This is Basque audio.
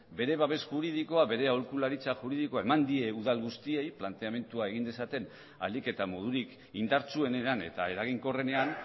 bere babes juridikoa bere aholkularitza juridikoa eman die udal guztiei planteamentua egin dezaten ahalik eta modurik indartsuenean eta eraginkorrenean